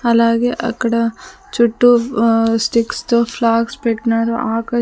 అలాగే అక్కడ చుట్టూ ఆ స్టిక్స్ తో ఫ్లాగ్స్ పెట్నారు ఆకు--